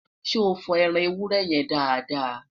so fo ẹran ewúrẹ́ yẹ dáadáa?